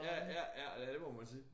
Ja ja ja det må man sige